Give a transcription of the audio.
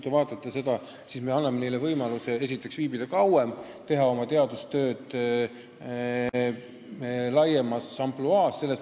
Ja nüüd me anname neile võimaluse viibida Euroopa Liidus kauem, et teha oma teadustööd laiemas ampluaas.